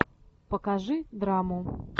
покажи драму